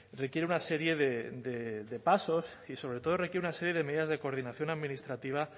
requiere una serie de pasos y sobre todo requiere una serie de medidas de coordinación administrativa